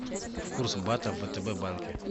курс бата в втб банке